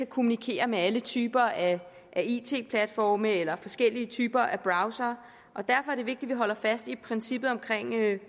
kommunikere med alle typer af it platforme eller forskellige typer af browsere og derfor er det vigtigt at vi holder fast i princippet om